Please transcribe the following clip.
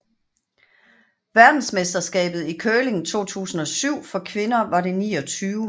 Verdensmesterskabet i curling 2007 for kvinder var det 29